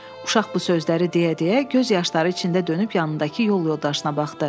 Uşaq bu sözləri deyə-deyə göz yaşları içində dönüb yanındakı yol yoldaşına baxdı.